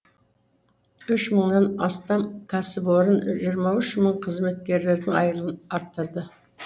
үш мыңнан астам кәсіпорын жиырма үш мың қызметкерінің айлығын арттырды